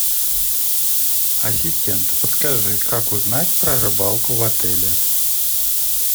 ассистент подскажи как узнать про рыбалку в отеле